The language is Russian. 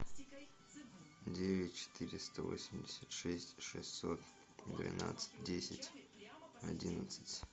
девять четыреста восемьдесят шесть шестьсот двенадцать десять одиннадцать